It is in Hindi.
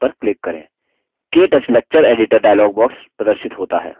ktouch lecture editor dialog प्रदर्शित होता है